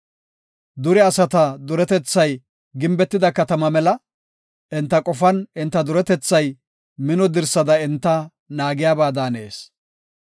Dure asata duretethay gimbetida katama mela; enta qofan enta duretethay mino dirsada enta naagiyaba daanees.